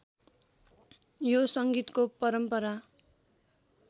यो संगीतको परम्परा